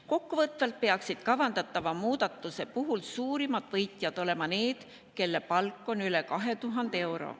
Kokkuvõtvalt peaksid kavandatava muudatuse puhul suurimad võitjad olema need, kelle palk on üle 2000 euro.